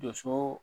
Doso